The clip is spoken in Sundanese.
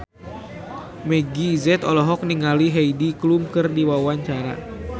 Meggie Z olohok ningali Heidi Klum keur diwawancara